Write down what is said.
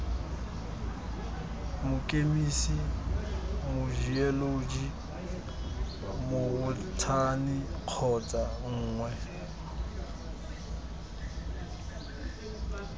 mokemise mojeoloji mobothani kgotsa nngwe